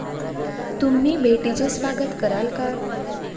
तुम्ही भेटीचे स्वागत कराल का?